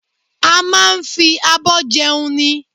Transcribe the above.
A máa ń fi abọ́ jẹun ni